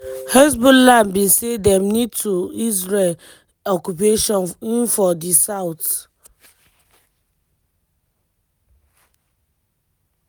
hezbollah bin say dem need to israel occupation in for di south.